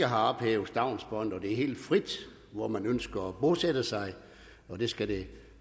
har ophævet stavnsbåndet og at det er helt frit hvor man ønsker at bosætte sig og det skal det